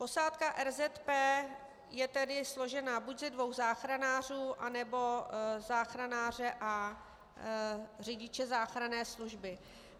Posádka RZP je tedy složena buď ze dvou záchranářů, anebo záchranáře a řidiče záchranné služby.